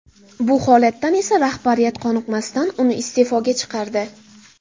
Bu holatdan esa rahbariyat qoniqmasdan, uni iste’foga chiqardi.